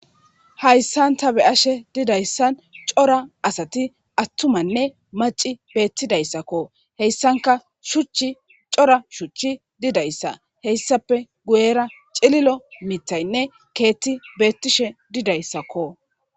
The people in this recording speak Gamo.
hayssan ta be ashe didayssan cora asati attumanne maci beettidayssakko heyssanka shuchch cora shuchchi didayssa heyssape guyera cililo mitaynne keetti beettishe didayssakko